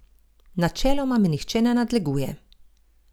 Načeloma me nihče ne nadleguje.